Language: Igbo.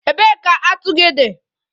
Ebee ka atu gị dị?